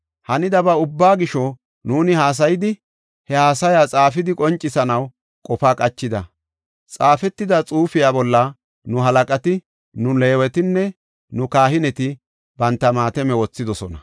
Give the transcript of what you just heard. Hanidaba ubbaa gisho, nuuni haasayidi, he haasaya xaafidi qoncisanaw qofa qachida. Xaafetida xuufiya bolla nu halaqati, nu Leewetinne nu kahineti banta maatame wothidosona.